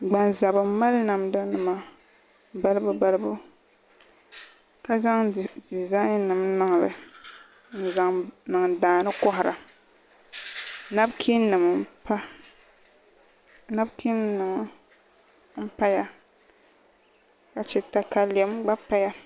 Gbanzabi n mali namda nim balibu balibu ka zaŋ dizaain nim niŋli n zaŋ niŋ daani kohara nabikiin nima n paya ka chɛ katalɛm gba paya